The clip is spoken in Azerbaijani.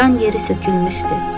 Dan yeri sökülmüşdü.